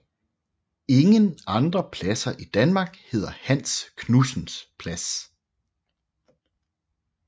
Ingen andre pladser i Danmark hedder Hans Knudsens Plads